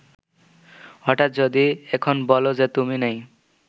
হঠাৎ যদি এখন বলো যে তুমি নেই